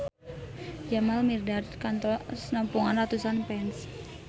Jamal Mirdad kantos nepungan ratusan fans